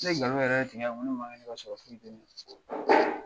Ne nkalon yɛrɛ tigɛ yan